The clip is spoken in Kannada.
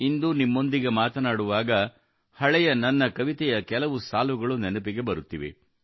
ಇಂದು ನಿಮ್ಮೊಂದಿಗೆ ಮಾತನಾಡುವಾಗ ಹಳೆಯ ನನ್ನ ಕವಿತೆಯ ಕೆಲವು ಸಾಲುಗಳು ನೆನಪಿಗೆ ಬರುತ್ತಿವೆ